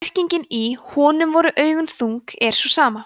merkingin í „honum voru augu þung“ er sú sama